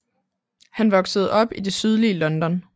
Han voksede op i det sydlige London